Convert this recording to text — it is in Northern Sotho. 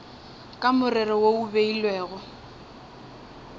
ka morero wo o beilwego